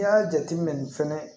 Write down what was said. I y'a jate minɛ fɛnɛ